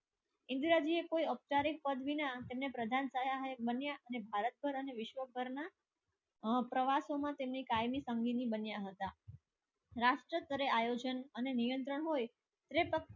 ઇન્દ્રજીએ કોઈ અવતારે પદવી ના તેમને પ્રધાન થયા અને ભારત પર અને વિશ્વ પરના પ્રવાસોમાં તેમની કાયમી બન્યા હતા. રાષ્ટ્ર કરે આયોજન અને નિયંત્રણ હોય તે